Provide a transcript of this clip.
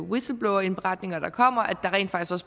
whistleblowerindberetninger der kommer